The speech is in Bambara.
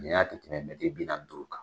Ni y'a i bi na t'o kan.